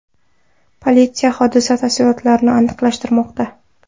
Politsiya hodisa tafsilotlarini aniqlashtirmoqda.